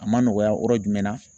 A ma nɔgɔya yɔrɔ jumɛn na.